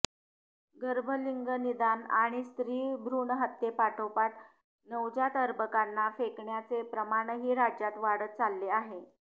गर्भलिंगनिदान आणि स्त्री भ्रूणहत्येपाठोपाठ नवजात अर्भकांना फेकण्याचे प्रमाणही राज्यात वाढत चालले आहे